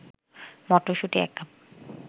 মটরশুঁটি ১ কাপ